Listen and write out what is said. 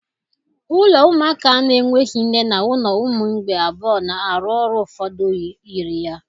Ụlọ ụmụaka na-enweghị nne na ụlọ ụmụ mgbei abụọ na-arụ ọrụ ụfọdụ yiri ya.